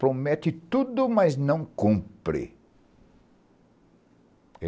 Promete tudo, mas não cumpre.